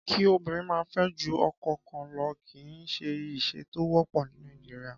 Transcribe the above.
Kí obìnrin máa fẹ́ ju ọkọ kan lo kì í ṣe ìṣe tó wọ́pọ̀ ní Nàìjíríà.